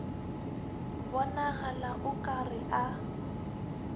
bonagala o ka re a